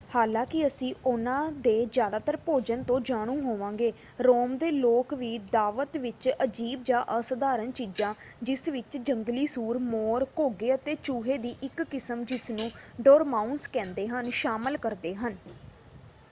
ਹਾਲਾਂਕਿ ਅਸੀਂ ਉਨ੍ਹਾਂ ਦੇ ਜ਼ਿਆਦਾਤਰ ਭੋਜਨ ਤੋਂ ਜਾਣੂ ਹੋਵਾਂਗੇ ਰੋਮ ਦੇ ਲੋਕ ਵੀ ਦਾਅਵਤ ਵਿੱਚ ਅਜੀਬ ਜਾਂ ਅਸਾਧਾਰਨ ਚੀਜ਼ਾਂ ਜਿਸ ਵਿੱਚ ਜੰਗਲੀ ਸੂਰ ਮੋਰ ਘੋਗੇ ਅਤੇ ਚੂਹੇ ਦੀ ਇੱਕ ਕਿਸਮ ਜਿਸਨੂੰ ਡੋਰਮਾਊਸ ਕਹਿੰਦੇ ਹਨ ਸ਼ਾਮਲ ਕਰਦੇ ਹਨ।